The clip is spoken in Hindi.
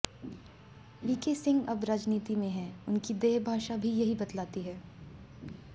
वीके सिंह अब राजनीति में हैं उनकी देहभाषा भी यही बतलाती है